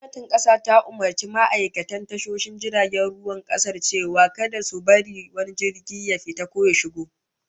Gwamnatin kasa ta umurci ma'aikatan tashoshin jiragen ruwan kasar cewa kada su bar wani jirgi ya fita ko ya shiga